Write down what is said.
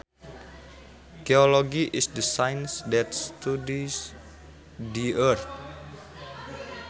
Geology is the science that studies the earth